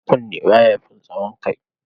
Kunne ba ya fin tsawon kai.